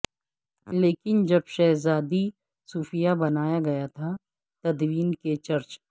لیکن جب شہزادی صوفیہ بنایا گیا تھا تدوین کے چرچ